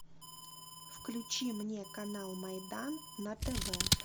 включи мне канал майдан на тв